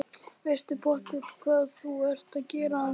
Veistu pottþétt hvað þú ert að gera, Arndís?